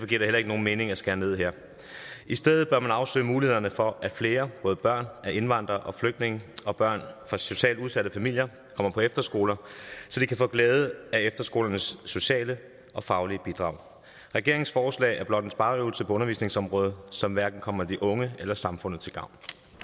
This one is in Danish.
giver det heller ikke nogen mening at skære ned her i stedet bør man afsøge mulighederne for at flere både børn af indvandrere og flygtninge og børn fra socialt udsatte familier kommer på efterskole så de kan få glæde af efterskolernes sociale og faglige bidrag regeringens forslag er blot en spareøvelse på undervisningsområdet som hverken kommer de unge eller samfundet til gavn